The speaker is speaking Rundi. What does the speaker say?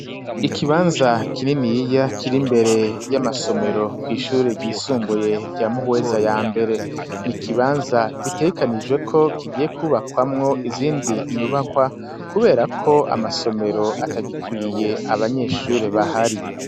Ikibanza kininiya kiri imbere y'amasomero kw'ishure ryisumbuye rya Muhweza ya mbere ni ikibanza bitegekanijwe ko kigiye ku bakwamwo izindi nyubakwa kubera ko amasomero atagikwiye abanyeshuri bahari.